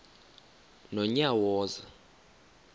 nonyawoza